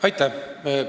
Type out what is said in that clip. Aitäh!